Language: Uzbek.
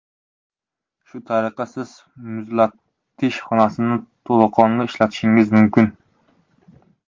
Shu tariqa, Siz muzlatish xonasini to‘laqonli ishlatishingiz mumkin.